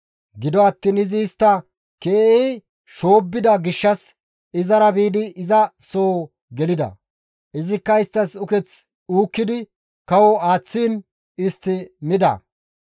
Gido attiin izi istta keehi shoobbida gishshas izara biidi iza soo gelida; izikka isttas uketh uukkidi kawo aaththiin istti mida.